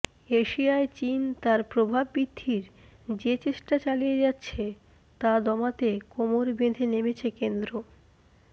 এশিয়ায় চিন তার প্রভাব বৃদ্ধির যে চেষ্টা চালিয়ে যাচ্ছে তা দমাতে কোমর বেঁধে নেমেছে কেন্দ্র